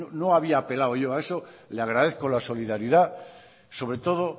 no había apelado yo a eso le agradezco la solidaridad sobre todo